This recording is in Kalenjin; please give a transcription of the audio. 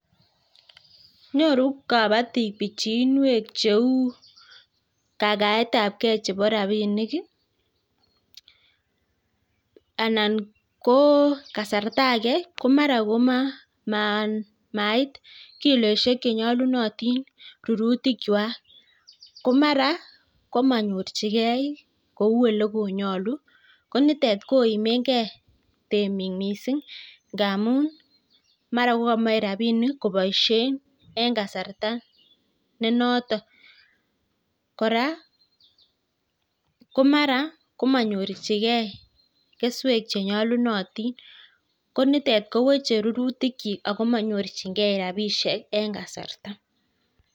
NYoru kobotik pichiinwek cheu: kagaetabge chebo rabinik, anan ko kasarta age ko mara komait kiloishek che nyolunotin rurutikwak ko mara komonyorjiga kou ole konyolu. Ko nitet koimenge temik mising ngamun mara kokomoe rabinik koboishen en kasarta nenoton. Kora ko mara komonyorjige keswek chenyolunotin, konitet kowechi rurutiikyik ago monyorjinge rabishek en kasarta.